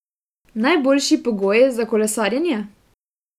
Najboljši pogoji za kolesarjenje?